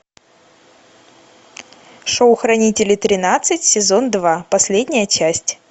шоу хранители тринадцать сезон два последняя часть